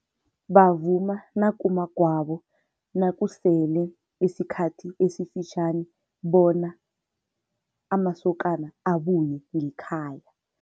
Bavuma nakumagwabo, nakusele isikhathi esifitjhani bona amasokana abuye ngekhaya.